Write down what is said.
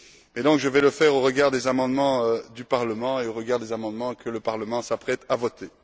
Je vais donc intervenir au regard des amendements du Parlement et au regard des amendements que le Parlement s'apprête à voter.